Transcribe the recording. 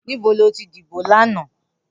Nibó ló ti dibó làná?